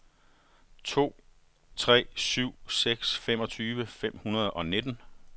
tre to syv seks femogtyve fem hundrede og nitten